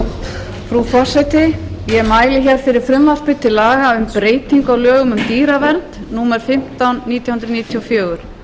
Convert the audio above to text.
frú forseti ég mæli hér fyrir frumvarpi til laga um breytingu á lögum um dýravernd númer fimmtán nítján hundruð níutíu og fjögur